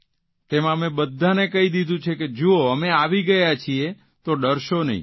તેમાં અમે બધાને કહી દીધું છે કે જુઓ અમે આવી ગયા છીએ તો ડરશો નહીં